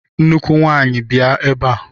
Nnukwu nwanyi! bịa ebe a!